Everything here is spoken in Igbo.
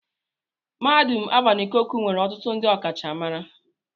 Mahadum Alvan Ikoku nwere ọtụtụ ndị ọkachamara.